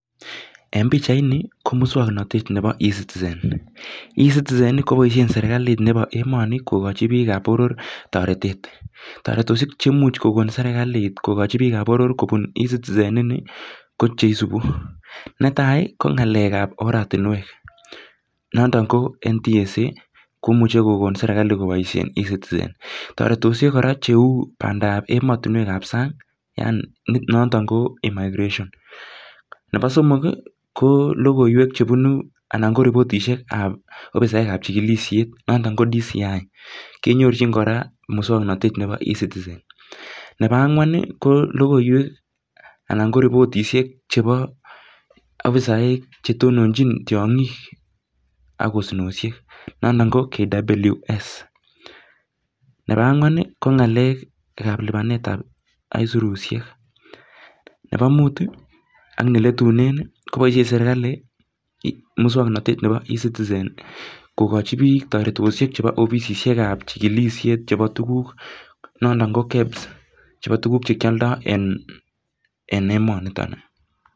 Nyone nee meting'ung' iniker ni?